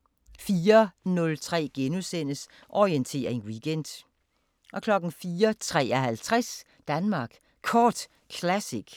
* 04:03: Orientering Weekend * 04:53: Danmark Kort Classic